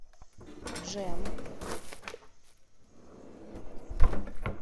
джем